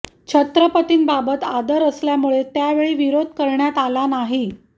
छत्रपतींबाबत आदर असल्यामुळे त्या वेळी विरोध करण्यात आला नाही